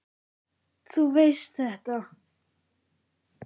Þú veist þetta.